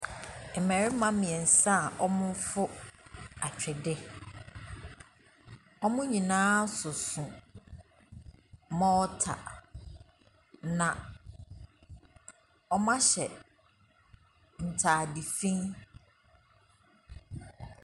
Mmarima mmiɛnsa a wɔrefo atwedeɛ, wɔn nyinaa soso mortar, na wɔahyɛ ntaade fi.